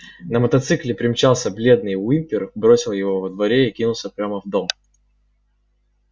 на мотоцикле примчался бледный уимпер бросил его во дворе и кинулся прямо в дом